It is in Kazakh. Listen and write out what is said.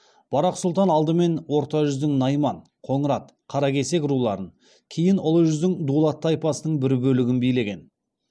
барақ сұлтан алдымен орта жүздің найман қоңырат қаракесек руларын кейін ұлы жүздің дулат тайпасының бір бөлігін билеген